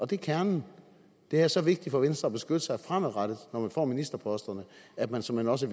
det er kernen det er så vigtigt for venstre at beskytte sig fremadrettet når man får ministerposterne at man såmænd også